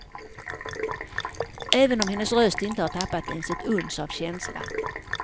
Även om hennes röst inte har tappat ens ett uns av känsla.